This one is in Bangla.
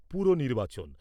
পুর নির্বাচন